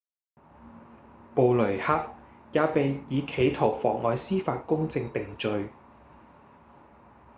布雷克也被以企圖妨礙司法公正定罪